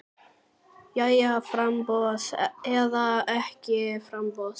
Jæja framboð eða ekki framboð?